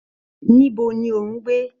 Níbo ni o n gbé?